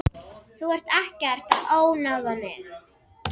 Þú ert ekkert að ónáða mig.